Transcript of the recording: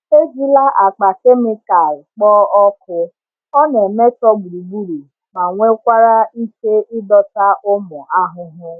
Ejila akpa kemịkal kpoo ọkụ, ọ na-emetọ gburugburu ma nwekwara ike ịdọta ụmụ ahụhụ.